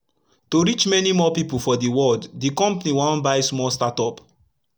to reach mani more pipu for d world d compani wan buy small startup